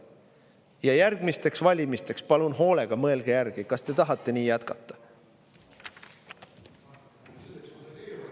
Ja järgmisteks valimisteks palun hoolega mõelge järgi, kas te tahate nii jätkata!